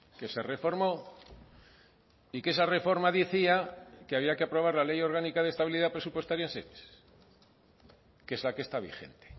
que se reformó y que esa reforma decía que había que aprobar la ley orgánica de estabilidad presupuestaria que es la que está vigente